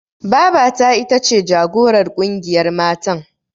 Babata ita ce jagorar ƙungiyar matan.